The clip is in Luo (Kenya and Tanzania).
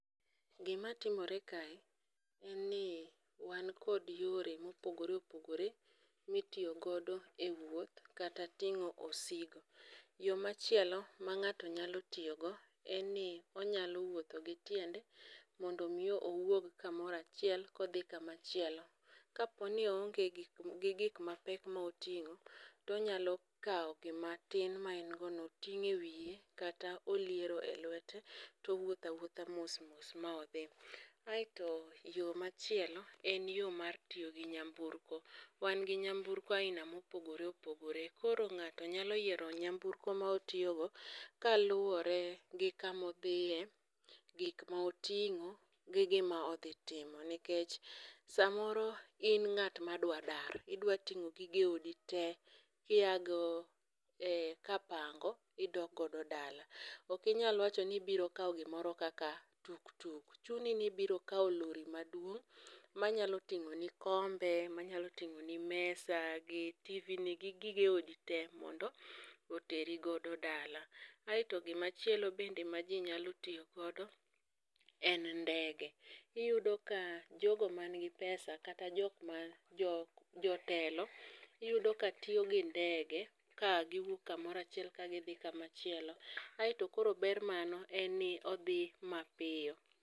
Gima timore kae en ni wan kod yore mopogore opogore mitiyo godo e wuoth kata tingo osigo. Yo machielo ma ng'ato nyalo tiyo go en ni onyalo wuotho gi tiende mondo mi owuog kamoro achiel kodhi kama chielo. Kapo ni o onge gik gi gik mapek moting'o tonyalo kaw gima tin ma en go no oting' wiye kata oliero e lwete towuotho awuotha mos mos ma odhi. Aeto yo machielo en yo mar tiyo gi nyamburko. Wan gi nyamburko aina mopogore opogore. Koro ng'ato nyalo yiero nyamburko motiyo go kaluwore gi kamodhiye, gik moting'o gi gima odhi timo. Nikech samoro in ng'at ma dwa dar. Idwa ting'o gige odi te kia go e kapango idok godo dala. Ok inyal wacho ni ibiro kaw gimoro kaka tuk tuk. Chuni ni ibiro kaw lori maduong' manyalo tingo' ni kombe, manyalo tingo' ni mesa gi TV ni gi gige odi te mondo oteri godo dala. Aeto gimachielo bende ma ji nyalo tiyo godo en ngede. Iyudo ka jogo man gi pesa kata jok man, jok jotelo iyudo ka tiyo gi ndege ka giwuok kamoro achiel kagidhi kamachielo. Aeto kor ber mano en ni odhi mapiyo.